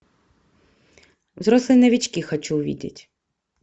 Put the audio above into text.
взрослые новички хочу увидеть